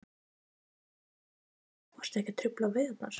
Kristján Már Unnarsson: Og eru ekkert að trufla veiðarnar?